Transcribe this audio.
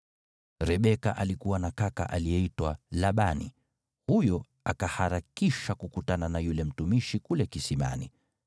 Rebeka alikuwa na kaka aliyeitwa Labani, huyo akaharakisha kukutana na yule mtumishi kule kisimani.